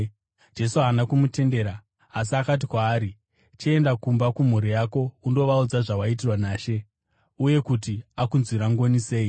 Jesu haana kumutendera, asi akati kwaari, “Chienda kumba kumhuri yako undovaudza zvawaitirwa naShe, uye kuti akunzwira ngoni sei.”